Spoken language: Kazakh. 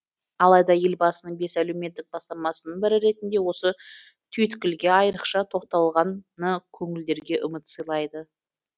алайда елбасының бес әлеуметтік бастамасының бірі ретінде осы түйткілге айырықша тоқталғаны көңілдерге үміт сыйлайды